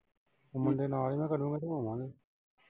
ਮੁੰਡੇ ਨਾਲ ਈ ਚਲੂੰਗਾ ਤੇ ਹੋਵਾਂਗੇ।